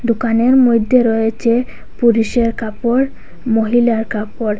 দোকানের মইধ্যে রয়েচে পুরিষের কাপর মহিলার কাপর।